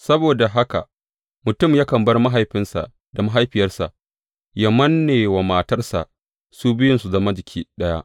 Saboda haka mutum yakan bar mahaifinsa da mahaifiyarsa, yă manne wa matarsa, su biyun su zama jiki ɗaya.